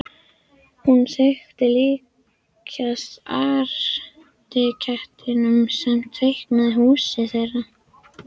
Hún þykir líkjast arkitektinum sem teiknaði húsið þeirra.